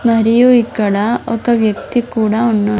మరియు ఇక్కడ ఒక వ్యక్తి కూడా ఉన్నా--